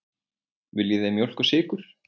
Viljið þið mjólk og sykur?